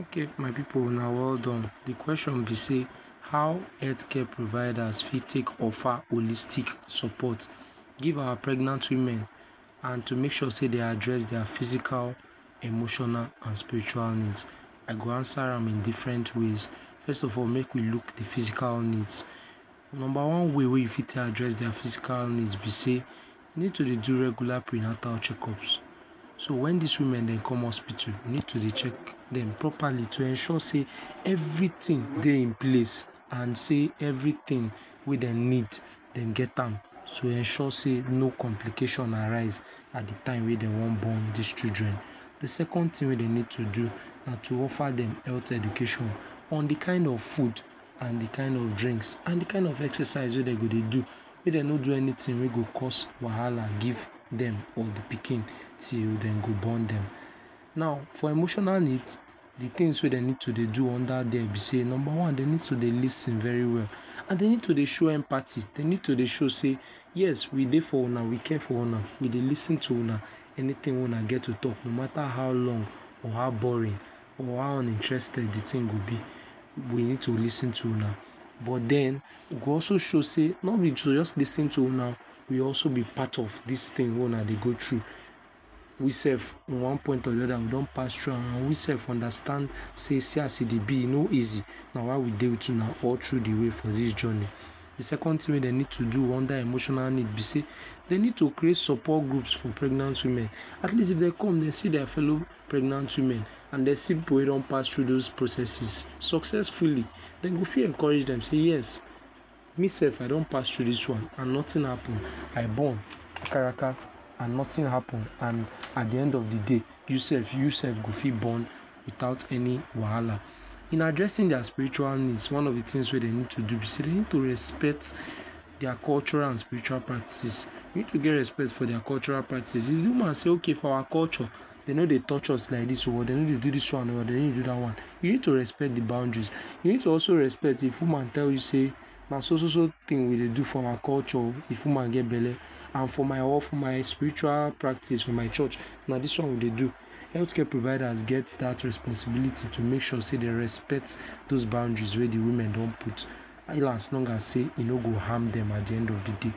Okay my pipu una well done. De question be sey how health care providers for think of wholistic support give our pregnant women and to make sure sey dey address their physical and emotional, and spiritual needs. I go answer am in different ways. First of all make we look de physical needs. Number one wey e fit take address their physical needs be sey you needed to dey do regular prenatal checkups so when these women dem come hospital you need to dey check dem properly to de ensure sey everything dey in place and sey everything wey dem need, dey get am to ensure sey no complication arise at de time wey dem wan born these children. De second thing wey dem need to do, to offer dem health education on de kind of food, and de kind of drink, and on de kind of exercise wey dey go dey do. Make dem no do anything wey go cause wahala give dem or de pikin till dem go born dem. Now for emotional needs de only things we dem need to de do under there be sey; Number one, dey need to dey lis ten very well, and dey need to show empathy. Dey need to de show sey yes we dey for Una we care for Una, we dey lis ten to Una. anything una get to talk no mata how long or how boring or how uninterested de thing dey go be we need to lis ten to Una but den e go also show sey, no be to jus lis ten to Una, e go also be part of de thing wey Una dey do. We sef in one point or de oda we don pass through am and we sef understand sey see as e dey be e no easy, na why we dey with you we sef we understand sey see as e dey be, e no easy na why we dey with Una all through de way for this journey. De second thing wey dem need to do under emotional need be sey dey need to create support groups to support pregnant women at least if dem come dem see their follow pregnant women and dey see pipu wey don pass through those processes successfully, dem go fit encourage dem sey yes me self I don pass through this one and nothing happen, I born kakaraka nothing happen at the de end of de day, you self go fit born without any wahala. In addressing their spiritual needs, one of de things wey dem need to do be sey dem need to dey respect their cultural and spiritual practices. E need to get respect for their cultural practices. If de woman say okay for our culture dey no dey touch us like this dey no dey do this one oh or dey or dey do that one, you need to respect de boundaries. You need to also respect if de woman tell you say na so so thing we dey do for our culture oh if woman get belle and for my for my spiritual practice is for my church na this one we dey do. Health care providers get that responsibility to make sure sey dem respect those boundaries wey de women don put. As long as sey e no go harm dem at de end of de day.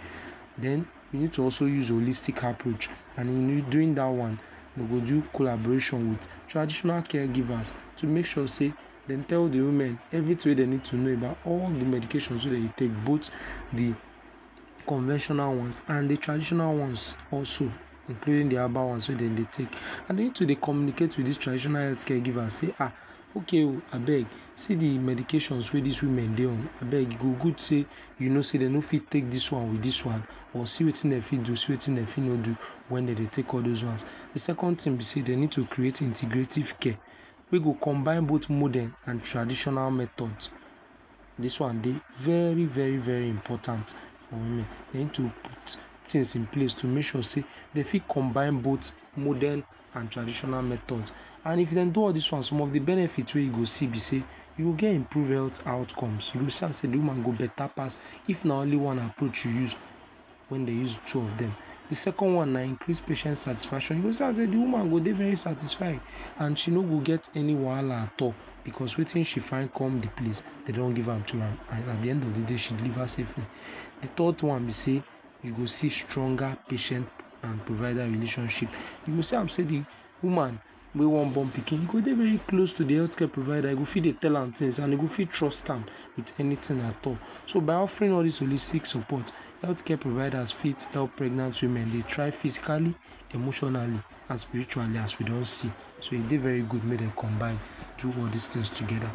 Then you need to also use holistic approach and during that wan dey go do collaboration with traditional caregivers to make sure sey dem tell di all they need to know about all de medication dem go take both de conventional ones and de traditional ones also including de herbal ones wey dem dey wey dem dey take and you need to dey communicate with the tradition healthcare givers say um okay oh abeg see de medications wey this women dey on abeg e go good sey you know sey dem no fit take this one and this one but see de one wey dem go take, see wetin dem go do and wetin dem no fit do when dem dey take all those ones. De second one be sey dem need to create integrative care wey go combine both modern and traditional methods this one dey very very important for women. Den to put things in place to make sure sey dem fit combine both modern and traditional method and if dem do all this one some of de benefits wey you go see be sey you go get improved health outcomes. You go see am sey de woman go beta pass if na only one approach you use that when dem use two of dem. Dem second one na increases patients satisfaction. You go see am sey de woman go dey very satisfied and she no go get any wahala at all because wetin she find come de place e don give am to am and at de end of de day she delivers safely. De third one be sey you go receive stronger patient and health provider relationship. You go see am sey de woman wey wan born de pikin, e go dey bey close to de health care provider e go fit dey tell am things and e go fit trust am with anything at all. So by offering all these holistic support, health care providers fit help pregnant women dey try physically, emotionally and spiritually as we don see. So e dey very good make dem combine do all these things together